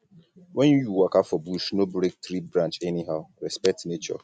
when you waka for bush no break tree branch anyhow um respect nature